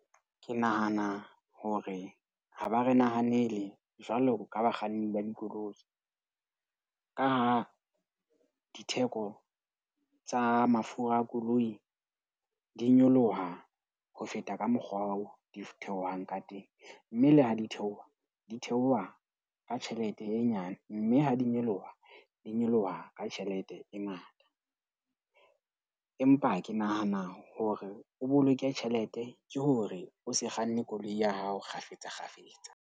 Ke nahana hore ha ba re nahanele jwalo ka bakganni ba dikoloi ka ha ditheko tsa mafura a koloi. Di nyoloha ho feta ka mokgwa oo di theohang ka teng, mme le ha di theoha, di theoha ka tjhelete e nyane. Mme ha di nyoloha, di nyoloha ka tjhelete e ngata. Empa ke nahana hore o boloke tjhelete ke hore o se kganne koloi ya hao kgafetsa kgafetsa.